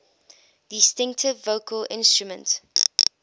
distinctive vocal instrument